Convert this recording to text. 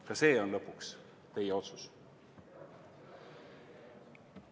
Ka see on lõpuks teie otsus.